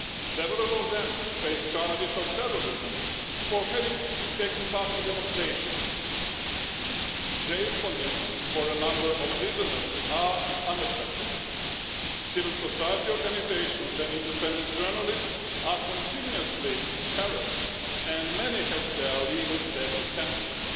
Several of them face charges of terrorism for having taken part in demonstrations. Jail conditions for a number of prisoners are unacceptable. Civil society organisations and independent journalists are continuously harassed and many have had their legal status cancelled.